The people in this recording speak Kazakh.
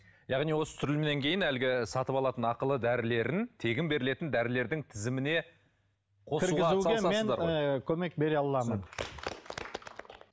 яғни осы түсірілімнен кейін әлгі сатып алатын ақылы дәрілерін тегін берілетін дәрілердің тізіміне кіргізуге мен ы көмек бере аламын